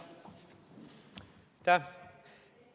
Aitäh!